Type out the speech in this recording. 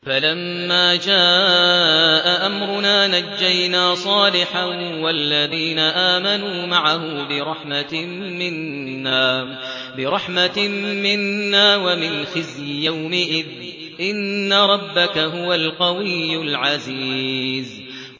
فَلَمَّا جَاءَ أَمْرُنَا نَجَّيْنَا صَالِحًا وَالَّذِينَ آمَنُوا مَعَهُ بِرَحْمَةٍ مِّنَّا وَمِنْ خِزْيِ يَوْمِئِذٍ ۗ إِنَّ رَبَّكَ هُوَ الْقَوِيُّ الْعَزِيزُ